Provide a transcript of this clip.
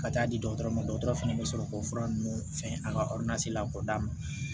Ka taa di dɔgɔtɔrɔ ma dɔgɔtɔrɔ fɛnɛ bɛ sɔrɔ k'o fura ninnu fɛn an ka la k'o d'a ma